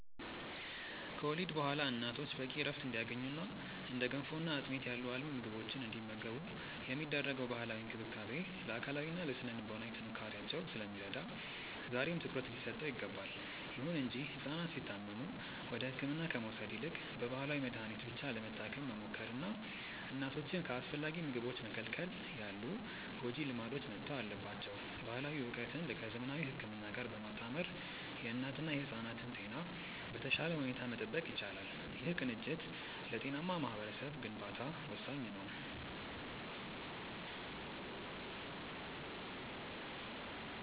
ከወሊድ በኋላ እናቶች በቂ ዕረፍት እንዲያገኙና እንደ ገንፎና አጥሚት ያሉ አልሚ ምግቦችን እንዲመገቡ የሚደረገው ባህላዊ እንክብካቤ ለአካላዊና ለሥነ-ልቦና ጥንካሬያቸው ስለሚረዳ ዛሬም ትኩረት ሊሰጠው ይገባል። ይሁን እንጂ ሕፃናት ሲታመሙ ወደ ሕክምና ከመውሰድ ይልቅ በባህላዊ መድኃኒት ብቻ ለመታከም መሞከርና እናቶችን ከአስፈላጊ ምግቦች መከልከል ያሉ ጎጂ ልማዶች መተው አለባቸው። ባህላዊ ዕውቀትን ከዘመናዊ ሕክምና ጋር በማጣመር የእናትና የሕፃናትን ጤና በተሻለ ሁኔታ መጠበቅ ይቻላል። ይህ ቅንጅት ለጤናማ ማኅበረሰብ ግንባታ ወሳኝ ነው።